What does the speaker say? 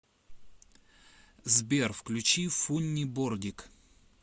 сбер включи фунни бордик